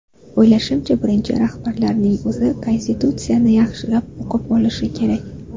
O‘ylashimcha, birinchi rahbarlarning o‘zi Konstitutsiyani yaxshilab o‘qib olishi kerak.